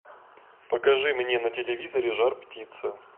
покажи мне на телевизоре жар птица